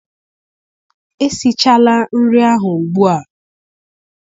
Esichala nri ahụ ugbua!